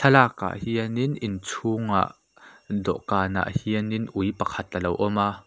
thlalak ah hianin inchhungah dawhkan ah hianin ui pakhat alo awm a.